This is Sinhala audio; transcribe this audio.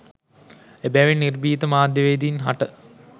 එබැවින් නිර්භීත මාධ්‍යවේදීන් හට